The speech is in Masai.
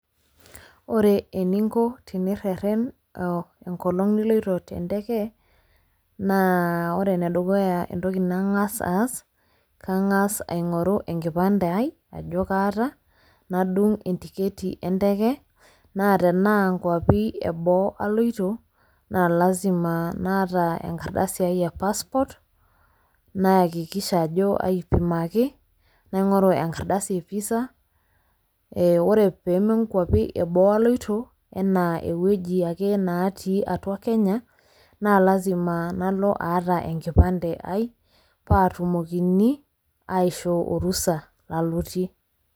Wore eninko tenirreren enkolong' niloito tenteke, naa wore enedukuya entoki nangas aas, kangas aingorru enkipande ai ajo kaata, nadung entiketi enteke, naa tenaa inkiuapin eboo aloito, naa lasima naata enkardasi ai e passport nayakikisha ajo aipimaki, naingoru enkardasi ee visa. Wore pee menkuapi eboo aloito, enaa ewoji ake neetii atua Kenya, naa lasima nalo aata enkipande ai, paatumokini aiishoo orusa lalotie.